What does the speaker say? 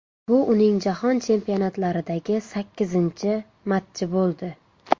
Bu uning jahon chempionatlaridagi sakkizinchi matchi bo‘ldi.